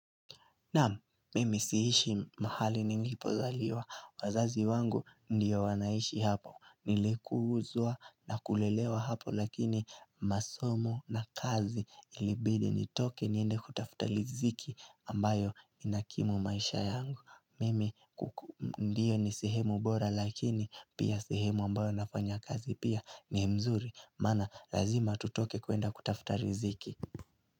Naam, mimi siishi mahali nilipozaliwa. Wazazi wangu ndio wanaishi hapo. Nilikuhuzwa na kulelewa hapo lakini masomo na kazi ilibidi nitoke niende kutafuta liziki ambayo inakimu maisha yangu. Mimi kuku ndio ni sehemu bora lakini pia sehemu ambayo nafanya kazi pia ni mzuri. Mana lazima tutoke kuenda kutafuta riziki.